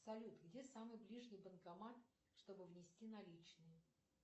салют где самый ближний банкомат чтобы внести наличные